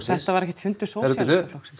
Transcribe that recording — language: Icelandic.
þetta var ekkert fundur Sósíalistaflokksins